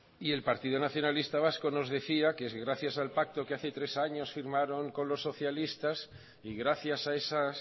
y el partido nacionalista vasco nos decía que es gracias al pacto que hace tres años firmaron con los socialistas y gracias a esas